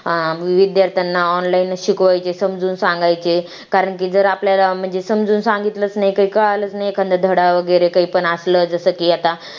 विद्यार्थ्यांना online शिकवायचे समजून सांगायचे कारण की जर आपल्याला म्हणजे समजून सांगितलं नाही काही कळालं नाही एखाद्या धडा वगैरे काही पण असलं जसं की आता